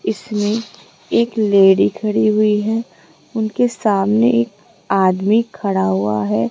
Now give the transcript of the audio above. इसमें एक लेडी खड़ी हुई है उनके सामने एक आदमी खड़ा हुआ है।